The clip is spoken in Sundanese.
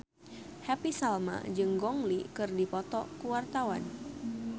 Happy Salma jeung Gong Li keur dipoto ku wartawan